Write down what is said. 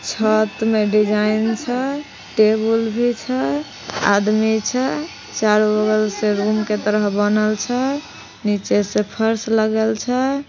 साथ मे डिजाईन छ टेबुल भी छ आदमी छे चारो बगल से रूमं के तरह बनल छ नीचे से फर्श लगल छ।